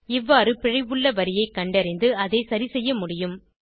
இவ்வாறு பிழை உள்ள வரியை கண்டறிந்து அதை சரி செய்ய முடியும்